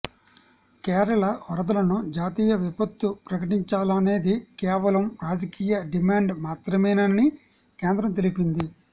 కేరళ వరదలను జాతీయ విపత్తు ప్రకటించాలనేది కేవలం రాజకీయ డిమాండ్ మాత్రమేనని కేంద్రం తెలిపింది